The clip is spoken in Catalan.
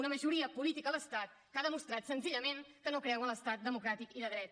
una majoria política a l’estat que ha demostrat senzillament que no creu en l’estat democràtic i de dret